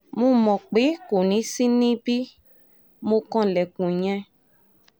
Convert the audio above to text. mo mọ̀ pé kò ní í ṣí i bí mo kanlẹ̀kùn yẹn